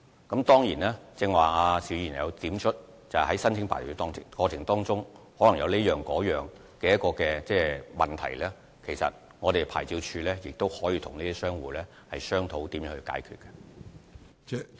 邵議員剛才提出，在申請牌照的過程中可能遇到各種問題，其實牌照事務處可以與商戶商討如何解決問題。